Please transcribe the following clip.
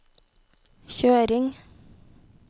kjøring